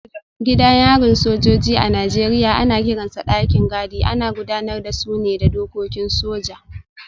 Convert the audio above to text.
Gidan yarin sojoji a Najeriya ana kiransa dakin gadi, ana gudanar da su ne da dokokin soja.